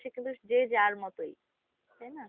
এখন দিনশেষে কিন্তু যে যার মতই। তাইনা?